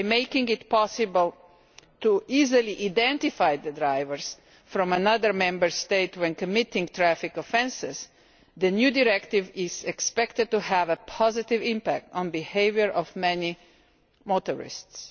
By making it possible to easily identify drivers from other Member States who commit traffic offences, the new directive is expected to have a positive impact on the behaviour of many motorists.